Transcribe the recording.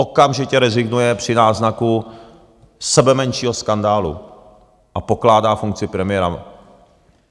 Okamžitě rezignuje při náznaku sebemenšího skandálu a pokládá funkci premiéra.